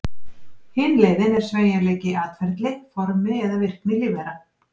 Hin leiðin er sveigjanleiki í atferli, formi eða virkni lífvera.